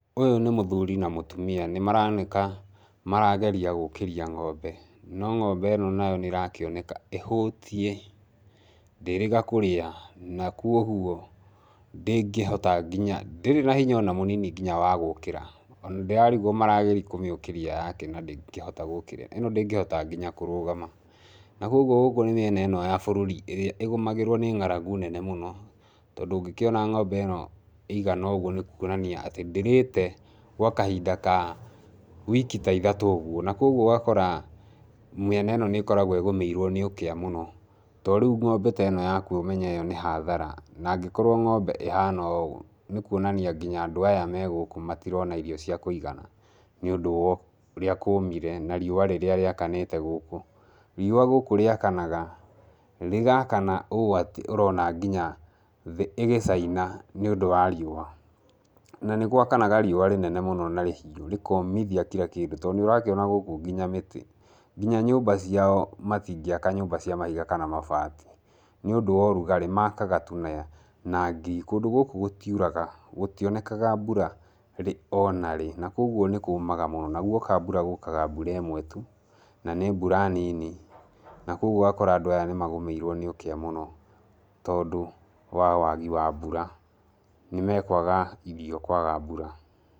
Ũyũ nĩ mũthuri na mũtumia, nĩ maroneka marageria gũkĩria ng'ombe no ng'ombe ĩno nayo nĩ ĩrakĩoneka ĩhũtie, ndĩrĩga kũrĩa na koguo ndĩngĩhota nginya, ndĩrĩ na hinya ona mũnini nginya wa gũũkĩra, ona ndĩrarigwo marageria kũmĩũkĩria yakĩ na ndĩngĩhota gũũkĩra, ĩno ndĩngĩhota nginya kũrũgama, na koguo gũkũ nĩ mĩena ĩno ya bũrũri ĩrĩa ĩgũmagĩrwo nĩ ng'aragu nene mũno, tondũ ũngĩkĩona ng'ombe ĩno ĩigana ũguo nĩ kuonania atĩ ndĩrĩte gwa kahinda ka wiki ta ithatũ ũguo, na koguo ũgakora mĩena ĩno nĩ ĩkoragwo ĩgũmĩirwo nĩ ũkĩa mũno, tondũ rĩu ng'ombe teno yakua ũmenye ĩyo nĩ hathara, na angĩkorwo ng'ombe ĩhana ũũ nĩ kuonania nginya andũ aya megũkũ matirona irio cia kũigana nĩũndũ wa ũrĩa kũmire na riũa rĩrĩa rĩakanĩte gũkũ. Riũa gũkũ rĩakanaga, rĩgaakana ũũ atĩ ũrona nginya thĩ ĩgĩcaina nĩ ũndũ wa riũa, na nĩ gwakanaga riũa rĩnene mũno na rĩhiũ, rĩkomithia kira kĩndũ tondũ nĩ ũrakĩona gũkũ nginya mĩtĩ, nginya nyũmba ciao matingĩaka nyũmba cia mahiga kana mabati, nĩũndũ wa ũrugarĩ makaga tu na na ngiri, kũndũ gũkũ gũtiuraga gũtionekaga mbura rĩ ona rĩ na koguo nĩ kũmaga mũno, na guoka mbura gũkaga mbura ĩmwe tu na nĩ mbura nini, na koguo ũgakora nadũ aya nĩ magũmĩirwo nĩ ũkĩa mũno tondũ wa wagi wa mbura, nĩ makwaga irio kwaga mbura.